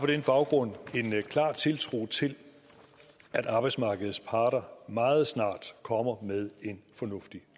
den baggrund en klar tiltro til at arbejdsmarkedets parter meget snart kommer med en fornuftig